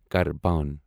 carbon